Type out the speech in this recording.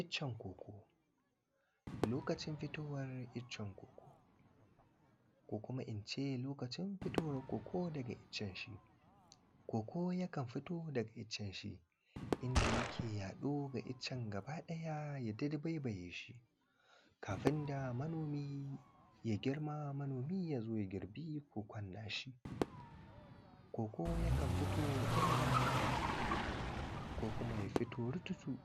Iccen koko ,lokacin fitowar iccen koko ko kuma koko yana fitowa daga iccen shi inda yake yaɗo ga iccen gaba ɗaya yai ta dabaibaye shi kafin manomi ya girma manomi ya zo ya girbe kokon na shi. Koko yakan fito ɗaya bayan ɗaya ko kuma ya fito rututu